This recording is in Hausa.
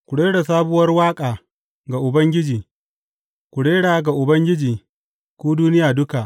Ku rera sabuwar waƙa ga Ubangiji; ku rera ga Ubangiji, ku duniya duka.